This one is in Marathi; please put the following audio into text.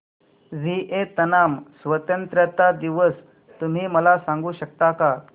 व्हिएतनाम स्वतंत्रता दिवस तुम्ही मला सांगू शकता का